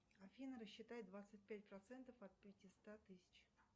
афина рассчитай двадцать пять процентов от пятиста тысяч